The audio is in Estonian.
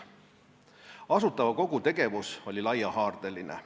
Asutava Kogu tegevus oli laiahaardeline.